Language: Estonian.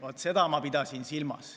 Vaat seda ma pidasin silmas.